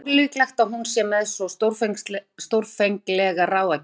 En það er ólíklegt að hún sé með svo stórfenglegar ráðagerðir.